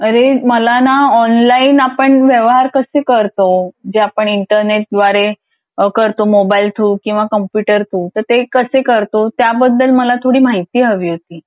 अरे मला ना ऑनलाइन आपण व्यवहार कसे करतो जे आपण इंटरनेट द्वारे करतो किंवा मोबाईल कॉम्प्युटर थ्रू तर ते कसे करतो त्याबद्दल मला थोडी माहिती हवी होती.